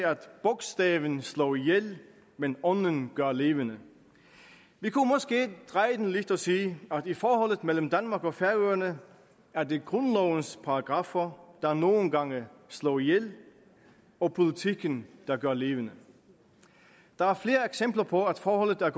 bogstaven slår ihjel men ånden gør levende vi kunne måske dreje det lidt og sige at i forholdet mellem danmark og færøerne er det grundlovens paragraffer der nogle gange slår ihjel og politikken der gør levende der er flere eksempler på at forholdet er